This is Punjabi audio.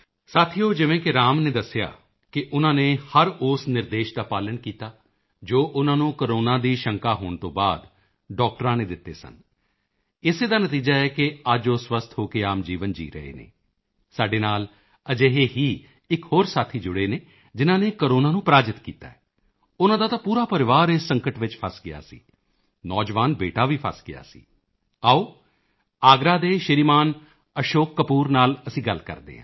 ਸਾਥੀਓ ਜਿਵੇਂ ਕਿ ਰਾਮ ਨੇ ਦੱਸਿਆ ਹੈ ਕਿ ਉਨ੍ਹਾਂ ਨੇ ਹਰ ਉਸ ਨਿਰਦੇਸ਼ ਦਾ ਪਾਲਣ ਕੀਤਾ ਜੋ ਉਨ੍ਹਾਂ ਨੂੰ ਕੋਰੋਨਾ ਦੀ ਸ਼ੰਕਾ ਹੋਣ ਤੋਂ ਬਾਅਦ ਡਾਕਟਰਾਂ ਨੇ ਦਿੱਤੇ ਸਨ ਇਸੇ ਦਾ ਨਤੀਜਾ ਹੈ ਕਿ ਅੱਜ ਉਹ ਸਵਸਥ ਹੋ ਕੇ ਆਮ ਜੀਵਨ ਜੀਅ ਰਹੇ ਹਨ ਸਾਡੇ ਨਾਲ ਅਜਿਹੇ ਹੀ ਇੱਕ ਹੋਰ ਸਾਥੀ ਜੁੜੇ ਨੇ ਜਿਨ੍ਹਾਂ ਨੇ ਕੋਰੋਨਾ ਨੂੰ ਪਰਾਜਿਤ ਕੀਤਾ ਹੈ ਉਨ੍ਹਾਂ ਦਾ ਤਾਂ ਪੂਰਾ ਪਰਿਵਾਰ ਇਸ ਸੰਕਟ ਵਿੱਚ ਫਸ ਗਿਆ ਸੀ ਨੌਜਵਾਨ ਬੇਟਾ ਵੀ ਫਸ ਗਿਆ ਸੀ ਆਓ ਆਗਰਾ ਦੇ ਸ਼੍ਰੀਮਾਨ ਅਸ਼ੋਕ ਕਪੂਰ ਨਾਲ ਅਸੀਂ ਗੱਲ ਕਰਦੇ ਹਾਂ